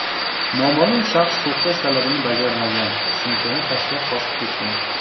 Noma’lum shaxs to‘xtash talabini bajarmagan, sumkani tashlab, qochib ketgan.